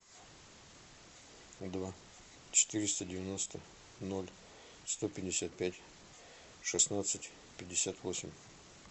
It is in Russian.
два четыреста девяносто ноль сто пятьдесят пять шестнадцать пятьдесят восемь